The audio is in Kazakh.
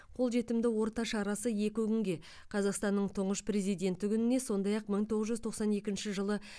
қолжетімді орта шарасы екі күнге қазақстанның тұңғыш президенті күніне сондай ақ мың тоғыз жүз тоқсан екінші жылы